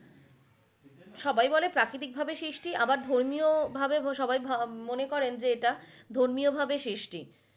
সবাই বলে প্রাকৃতিক ভাবে সৃষ্টি আবার ধর্মীয় ভাবে সবাই ভা~মনে করেন যে এটা ধর্মীয় ভাবে সৃষ্টি।